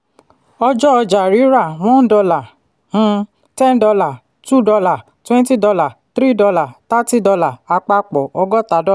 ọjọ́ ọjà-rírà: one dollar um ten dollar two dollar twenty dollar three dollar thirty dollar. àpapọ: ọgọ́ta